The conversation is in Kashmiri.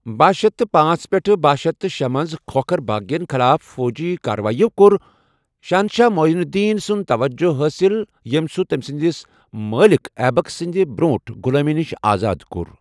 باہ شیتھ تہٕ پانژھ پیٹھ باہ شیتھ تہٕ شے منز کھوکھر بٲغین خلاف فوجی کارٕوٲیِو کوٚر شہنشاہ مُعیٖز الدیٖن سُنٛد توجہٕ حٲصِل، ییٚمہِ سوٗ تمہِ سندِس مٲلِكھ ایبَک سٕنٛدِ برٛونٛٹھ غۄلٲمی نِش آزاد کوٚر